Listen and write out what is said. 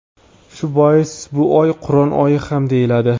Shu bois bu oy Qur’on oyi ham deyiladi.